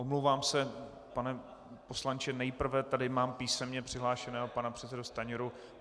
Omlouvám se, pane poslanče, nejprve tady mám písemně přihlášeného pana předsedu Stanjuru.